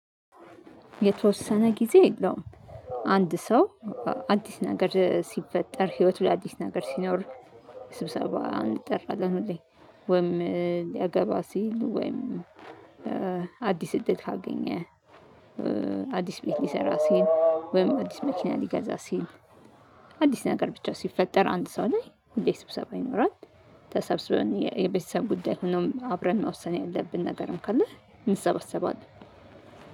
የተወሰነ ጊዜ የለውም። አንድ ሰው አዲስ ነገር ሲፈጠር ህይወቱ ላይ አዲስ ነገር ሲኖር። ስብሰባ እንጠራለን ሁሌ ወይም ሊያገባ ሲል ወይም አዲስ እድል ካገኘ። አዲስ ቤት ሊሰራ ሲል ወይም አዲስ መኪና ሊገዛ ሲል። አዲስ ነገር ብቻ ሲፈጠር አንድ ሰው ላይ ሁሌ ስብሰባ ይኖራል። ተሰብስበን የቤተሰብ ጉዳይ ሆኖ አብረን መወሰን ያለብን ነገርም ካለ እንሰበሰባለን።